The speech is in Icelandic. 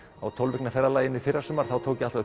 á tólf vikna ferðalagi í fyrrasumar þá tók ég